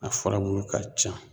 A furabulu ka ca.